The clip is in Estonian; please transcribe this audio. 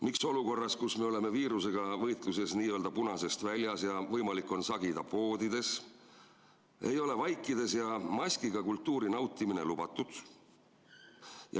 Miks olukorras, kus me oleme viirusega võitluses n-ö punasest väljas ja võimalik on sagida poodides, ei ole vaikides ja maskiga kultuuri nautimine lubatud?